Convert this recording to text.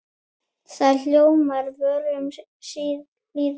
Hljómar mál á vörum lýða.